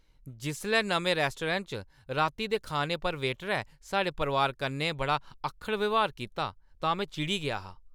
जिसलै नमें रेस्टोरैंट च राती दे खाने पर वेटरै साढ़े परोआर कन्नै बड़ा अक्खड़ ब्यहार कीता तां में चिड़ी गेआ हा।